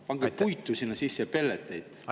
Pange puitu sinna sisse, pelleteid.